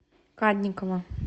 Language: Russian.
кадникова